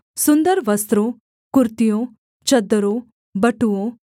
सुन्दर वस्त्रों कुर्तियों चद्दरों बटुओं